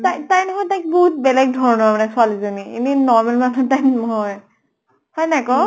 তাই তাই নহয় বহুত বেলেগ ধৰণৰ মানে ছোৱালী জনী। এনে normal মানুহ type নহয়। হয় নে নাই কʼ?